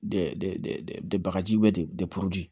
De bagaji bɛ de